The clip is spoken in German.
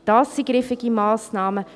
Dies sind griffige Massnahmen;